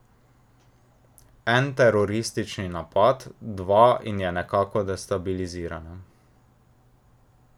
En teroristični napad, dva in je nekako destabilizirana.